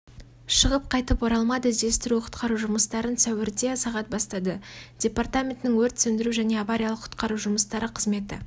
шығып қайтып оралмады іздестіру-құтқару жұмыстарын сәуірде сағат бастады департаментінің өрт сөндіру және авариялық-құтқару жұмыстары қызметі